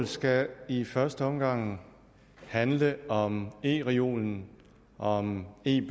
skal i første omgang handle om ereolen om e